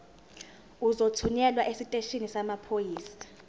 uzothunyelwa esiteshini samaphoyisa